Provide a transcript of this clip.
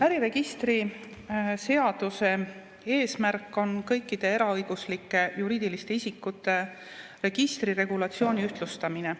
Äriregistri seaduse eesmärk on kõikide eraõiguslike juriidiliste isikute registriregulatsiooni ühtlustamine.